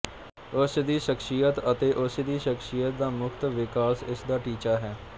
ਉਸ ਦੀ ਸ਼ਖਸੀਅਤ ਅਤੇ ਉਸ ਦੀ ਸ਼ਖਸੀਅਤ ਦਾ ਮੁਫ਼ਤ ਵਿਕਾਸ ਇਸ ਦਾ ਟੀਚਾ ਹੈ